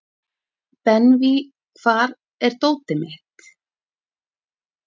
Benvý, hvar er dótið mitt?